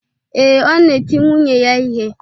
Ee, ọ na-eti nwunye ya ihe.